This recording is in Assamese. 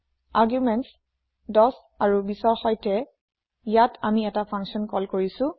আৰ্গুমেণ্টছ ১০ আৰু ২০ৰ সৈতে ইয়াত আমি এটা ফা্নছন কল কৰিছো